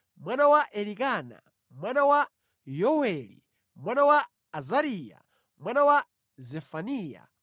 mwana wa Elikana, mwana wa Yoweli, mwana wa Azariya, mwana wa Zefaniya,